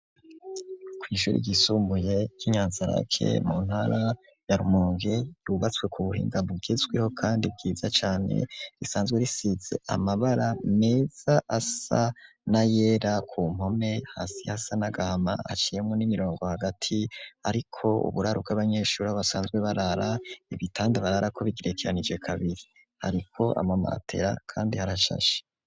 ku ishuri ry'isumbuye ryi Inyanzalake mu ntara ya Rumunge ryubatswe ku buhinga bugezweho kandi bwiza cane risanzwe risize amabara meza asa na yera ku mpome hasi hasa n'agahama aciyemwo imirongo hagati ariko uburao bw'abanyeshuri aho basanzwe barara ibitanda bararako bigirekeranije kabiri hariko ama matera kandi harashashe.